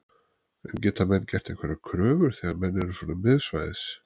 En geta menn gert einhverjar kröfur þegar menn eru svo miðsvæðis?